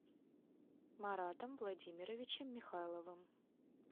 маратом владимировичем михайловым